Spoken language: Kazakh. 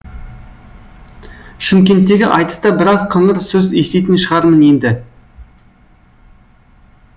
шымкенттегі айтыста біраз қыңыр сөз еститін шығармын енді